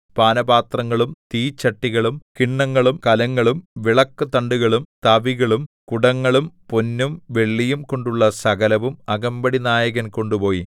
പാനപാത്രങ്ങളും തീച്ചട്ടികളും കിണ്ണങ്ങളും കലങ്ങളും വിളക്കുതണ്ടുകളും തവികളും കുടങ്ങളും പൊന്നും വെള്ളിയും കൊണ്ടുള്ള സകലവും അകമ്പടിനായകൻ കൊണ്ടുപോയി